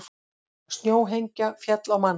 Snjóhengja féll á mann